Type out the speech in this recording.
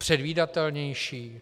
Předvídatelnější?